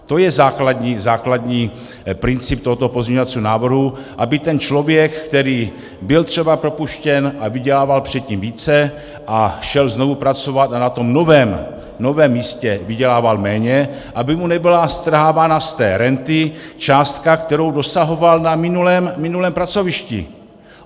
To je základní princip tohoto pozměňovacího návrhu, aby ten člověk, který byl třeba propuštěn a vydělával předtím více a šel znovu pracovat a na tom novém místě vydělával méně, aby mu nebyla strhávána z té renty částka, kterou dosahoval na minulém pracovišti.